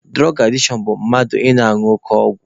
Dụrọg adishọn bụ mmadụ ị na-añụ oke ọgwụ..